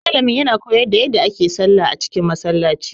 Malamin ya na koyar da yadda ake sallah a cikin Masallaci